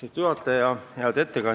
Austatud juhataja!